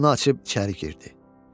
Qapını açıb içəri girdi.